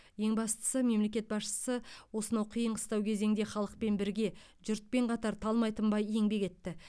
ең бастысы мемлекет басшысы осынау қиын қыстау кезеңде халықпен бірге жұртпен қатар талмай тынбай еңбек етті